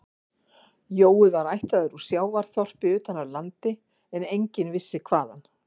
Jói var ættaður úr sjávarþorpi utan af landi en enginn vissi hvaðan